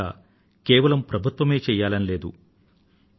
పరిశుభ్రత కేవలం ప్రభుత్వమే చెయ్యాలని లేదు